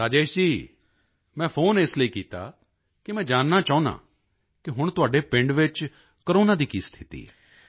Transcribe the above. ਰਾਜੇਸ਼ ਜੀ ਮੈਂ ਫ਼ੋਨ ਇਸ ਲਈ ਕੀਤਾ ਕਿ ਮੈਂ ਜਾਨਣਾ ਚਾਹੁੰਦਾ ਸੀ ਕਿ ਹੁਣ ਤੁਹਾਡੇ ਪਿੰਡ ਵਿੱਚ ਕੋਰੋਨਾ ਦੀ ਕੀ ਸਥਿਤੀ ਹੈ